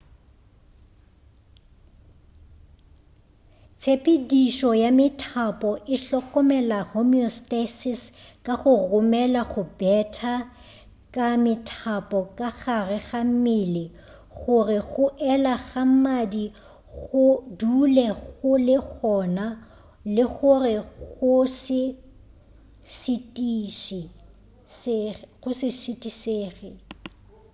tshepedišo ya methapo e hlokomela homeostasis ka go romela go betha ka methapo ka gare ga mmele go re go ela ga madi go dule go le gona le go re go se šitišege